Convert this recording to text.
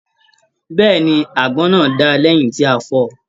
Bẹ́ẹ̀ni, àgbọn náà dáa lẹyìn tí a fọọ̀.